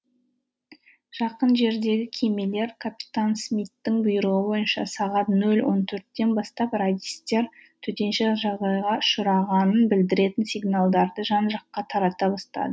жақын жердегі кемелер капитан смиттің бұйрығы бойынша сағат нөл он төрттен бастап радистер төтенше жағдайға ұшырағанын білдіретін сигналдарды жан жаққа тарата